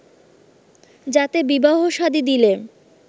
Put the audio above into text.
যাতে বিবাহ শাদী দিলে